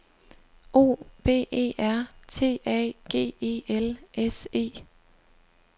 O V E R T A G E L S E